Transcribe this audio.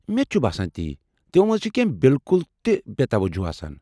مےٚ تہِ چُھ باسان تی، تِمو منٛز چُھ بالکل تہِ بےٚ توجو باسان۔